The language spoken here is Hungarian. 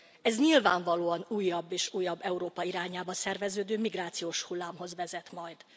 Ez nyilvánvalóan újabb és újabb Európa irányába szerveződő migrációs hullámhoz vezet majd.